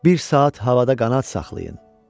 Bir saat havada qanad saxlayın.